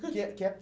Que é que